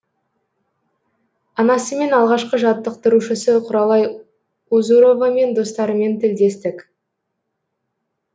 анасымен алғашқы жаттықтырушысы құралай узуровамен достарымен тілдестік